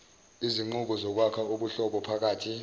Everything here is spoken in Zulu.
izinqubo zokwakha ubuhlobophakathi